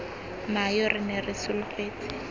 nayo re ne re solofetse